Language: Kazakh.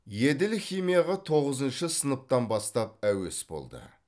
еділ химияға тоғызыншы сынаптан бастап әуес болды